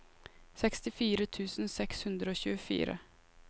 sekstifire tusen seks hundre og tjuefire